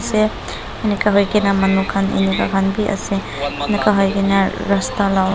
enika hoikena manu khan enika khan vi ase enika hoina rasta la--